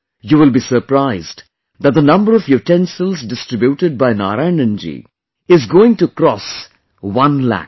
You will be surprised that the number of utensils distributed by Narayanan ji is going to cross one lakh